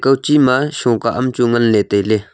kawche ma shokah amchu nganley tailey.